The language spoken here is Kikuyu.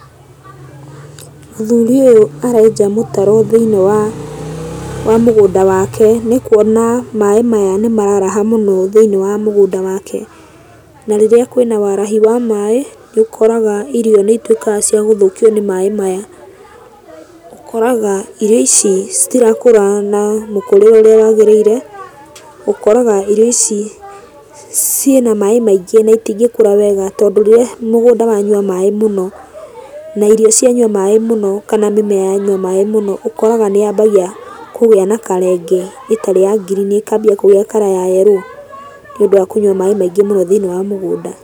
Mũthuri ũyũ arenja mũtaro thĩiniĩ wa, wa mũgũnda wake. Nĩkuona maĩ maya nĩmararaha mũno thĩiniĩ wa mũgũnda wake, na rĩrĩa kwĩna warahi wa maĩ, nĩũkoraga irio nĩituĩkaga cia gũthũkio nĩ maĩ maya. Ũkoraga irio ici citirakũra na mũkũrĩre ũrĩa wagĩrĩire. Ũkoraga irio ici ciĩna maĩ maingĩ na itingĩkũra wega, tondũ rĩrĩa mũgũnda wanyua maĩ mũno, na irio cianyua maĩ mũno, kana mĩmea yanyua maĩ mũno, ũkoraga nĩyambagia kũgĩa na color ĩngĩ ĩtarĩ ya ngirini, ĩkambia kũgĩa color ya yerũũ nĩũndũ wa kũnyua maĩ maingĩ mũno thĩiniĩ wa mũgũnda.